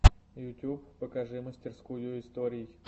ютуб покажи мастерскую историй